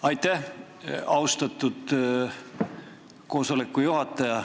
Aitäh, austatud juhataja!